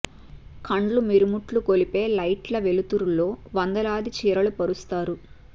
కండ్లు మిరుమిట్లు గొలిపే లైట్ల వెలు తురులలో వందలాది చీరలు పరుస్తారు